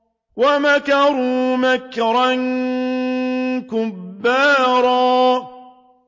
وَمَكَرُوا مَكْرًا كُبَّارًا